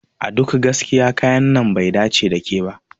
A duk gaskiya kayan nan bai dace da ke ba.